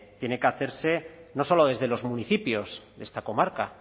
tiene que hacerse no solo desde los municipios de esta comarca